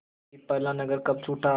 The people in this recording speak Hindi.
कि पहला नगर कब छूटा